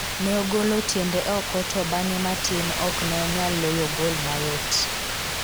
ne ogolo tiende oko to bang'e matin ok ne onyal loyo gol mayot